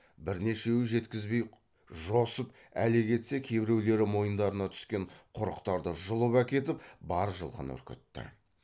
бірнешеуі жеткізбей жосып әлек етсе кейбіреулері мойындарына түскен құрықтарды жұлып әкетіп бар жылқыны үркітті